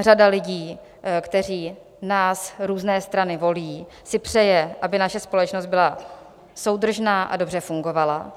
řada lidí, kteří nás, různé strany, volí, si přeje, aby naše společnost byla soudržná a dobře fungovala.